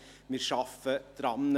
wir arbeiten daran.